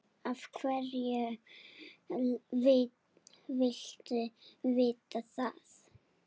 Af hverju viltu vita það?